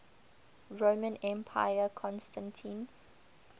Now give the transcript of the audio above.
roman emperor constantine